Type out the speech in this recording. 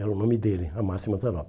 Era o nome dele, Amácio Mazzaropi.